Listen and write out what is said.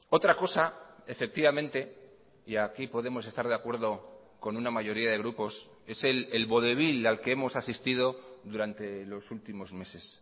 otra cosa efectivamente y aquí podemos estar de acuerdo con una mayoría de grupos es el vodevil al que hemos asistido durante los últimos meses